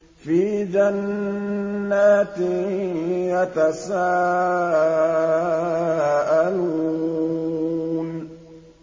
فِي جَنَّاتٍ يَتَسَاءَلُونَ